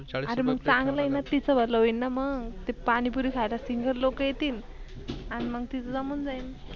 अरे चांगल आहे तीच भल होईल मग ते पानी पुरी ख्येला Single लोक येतील अन मग तीच जमून जाईल.